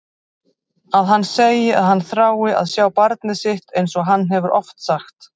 Að hann segi að hann þrái að sjá barnið sitt einsog hann hefur oft sagt.